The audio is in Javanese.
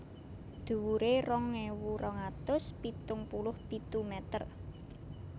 Dhuwuré rong ewu rong atus pitung puluh pitu mèter